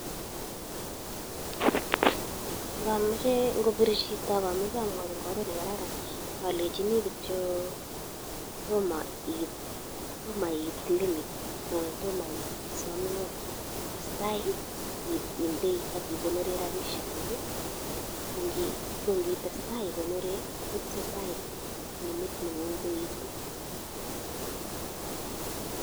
Ngopir chito ak omoche amwochi en oret ne kararan alenjini kityo tomo iit limit anan tomo iit isom loan testai indei ak ikonori rabishek kuk kongitestai igonori kotesetai limit nengun koetu.